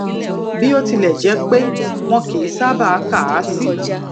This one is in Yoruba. bó tilẹ jẹ pé wọn kì í sábà ka a si